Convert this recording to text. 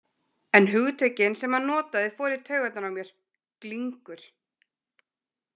En hugtökin sem hann notaði fóru í taugarnar á mér: Glingur.